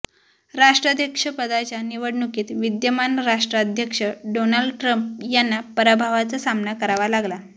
राष्ट्राध्यक्षपदाच्या निवडणुकीत विद्यमान राष्ट्राध्यक्ष डोनाल्ड ट्रम्प यांना पराभवाचा सामना करावा लागला